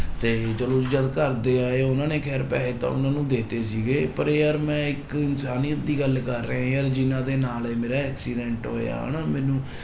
ਤੇ ਚਲੋ ਜੀ ਜਦ ਘਰਦੇ ਆਏ ਉਹਨਾਂ ਨੇ ਖੈਰ ਪੈਸੇ ਤਾਂ ਉਹਨਾਂ ਨੂੰ ਦੇ ਦਿੱਤੇ ਸੀਗੇ, ਪਰ ਯਾਰ ਮੈਂ ਇੱਕ ਇਨਸਾਨੀਅਤ ਦੀ ਗੱਲ ਕਰ ਰਿਹਾਂ ਯਾਰ ਜਿਹਨਾਂ ਦੇ ਨਾਲ ਇਹ ਮੇਰਾ accident ਹੋਇਆ ਹਨਾ ਮੈਨੂੰ